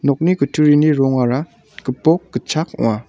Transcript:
kutturini rongara gipok gitchak ong·a.